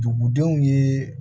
Dugudenw ye